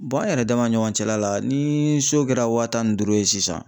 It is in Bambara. an yɛrɛ dama ni ɲɔgɔn cɛla la ni so kɛra waa tan ni duuru ye sisan